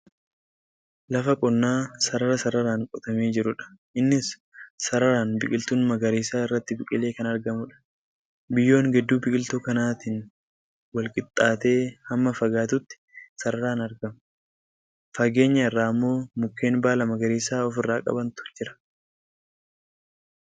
Lafa qonnaa sarara sararaan qotamee jirudha. Innis sararaan biqiltuun magariisaa irratti biqilee kan argamudha. Biyyoon gidduu biqiltuu kanaatiin walqixxaatee hamma fagaatutti sararaan argama. Fageenya irraa immoo mukkeen baala magariisa of irraa qabantu jira.